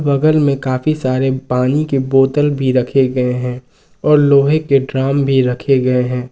बगल में काफी सारे पानी के बोतल भी रखे गए हैं और लोहे के ड्राम भी रखे गए हैं।